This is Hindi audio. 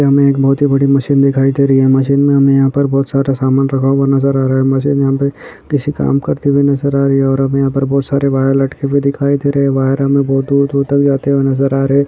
हमें एक बहोत ही बड़ी मशीन दिखाई दे रही है मशीन में हमें यहाँ पर बहोत सारा सामान रखा हुआ नज़र आ रहा है मशीन यहाँ पे किसी काम करते हुए नज़र आ रही है और हमें यहाँ पर बहोत सारे वायर लटके हुए दिखाई दे रहे है वायर हमें बहुत दूर दूर तक जाते हुए नज़र आ रहे है।